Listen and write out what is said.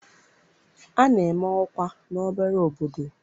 A na-eme ọkwa n'obere obodo.